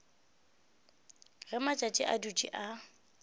ge matšatši a dutše a